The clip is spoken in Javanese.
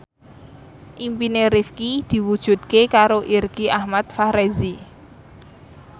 impine Rifqi diwujudke karo Irgi Ahmad Fahrezi